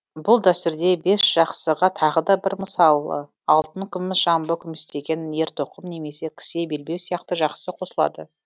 бұл дәстүрде бесжақсыға тағы да бір мысалы алтын күміс жамбы күмістеген ертоқым немесе кісе белбеу сияқты жақсы қосылады